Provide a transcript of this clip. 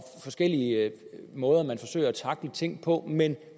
forskellige måder man forsøger at tackle tingene på men